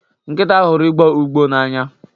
Nkịta huru igbọ ụgbọ n'anya.